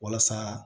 Walasa